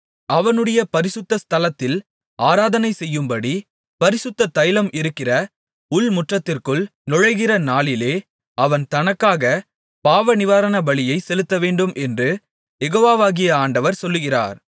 அவனுடைய பரிசுத்த ஸ்தலத்தில் ஆராதனை செய்யும்படி பரிசுத்த ஸ்தலம் இருக்கிற உள்முற்றத்திற்குள் நுழைகிற நாளிலே அவன் தனக்காகப் பாவநிவாரண பலியைச் செலுத்தவேண்டும் என்று யெகோவாகிய ஆண்டவர் சொல்லுகிறார்